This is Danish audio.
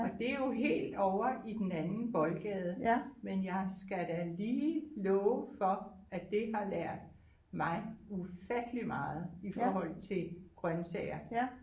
Og det er jo helt ovre i den anden boldgade men jeg skal da lige love for at det har lært mig ufattelig meget i forhold til grøntsager